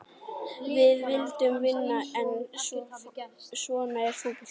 Við vildum vinna en svona er fótboltinn.